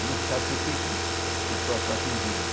E não se sabe por que é que essas pessoas são atingidas.